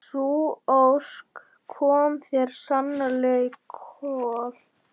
Sú ósk kom þér sannarlega í koll.